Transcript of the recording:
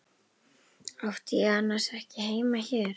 Átti ég annars ekki heima hér?